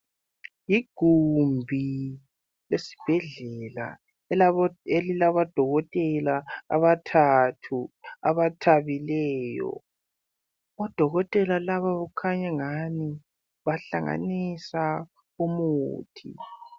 Ligumbi esibhedlela elilabodokotela abathathu abathabileyo. Odokotela labo kukhanya angani bahlanganisa umuthi.